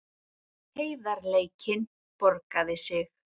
Heiðarleikinn borgaði sig